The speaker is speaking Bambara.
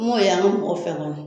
An m'o y'an ka mɔgɔ fɛ kɔni